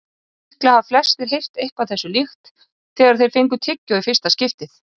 Líklega hafa flestir heyrt eitthvað þessu líkt þegar þeir fengu tyggjó í fyrsta skipti.